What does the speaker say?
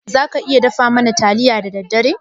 Za ka iya dafa mana taliya da daddare?